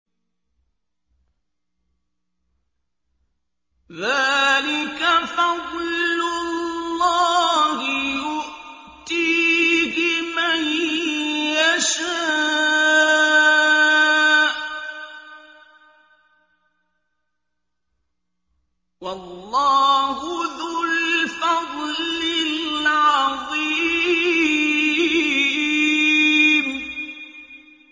ذَٰلِكَ فَضْلُ اللَّهِ يُؤْتِيهِ مَن يَشَاءُ ۚ وَاللَّهُ ذُو الْفَضْلِ الْعَظِيمِ